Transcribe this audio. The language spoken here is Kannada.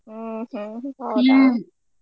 ಹ್ಮ್ ಹ್ಮ್ ?